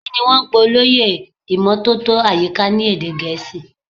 Kini wọn ń pè olóyè ìmótótó àyíká ni èdè gẹ̀ẹ́sì.